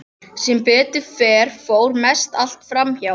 Sem betur fer fór mest allt fram hjá.